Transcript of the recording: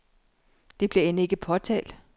Det bliver end ikke påtalt.